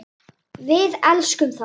Við elskum þá.